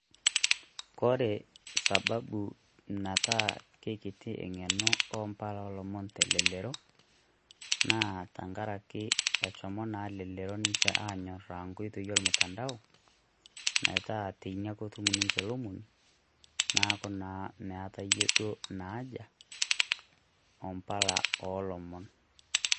Kore sababu naitaa kekitie enge'eno obaa oolomon te lelero naa tengaraki eshomo naa Elelero nche Aanyorraa enkoitoi ormutandao metaa teine ake etum ninche lomoni neeku naa meetayie Ina aja ombala ilomon.